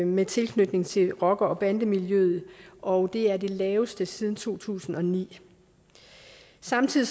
med tilknytning til rocker og bandemiljøet og det er det laveste tal siden to tusind og ni samtidig